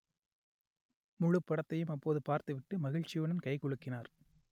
முழுப் படத்தையும் அப்போது பார்த்துவிட்டு மகிழ்ச்சியுடன் கை குலுக்கினார்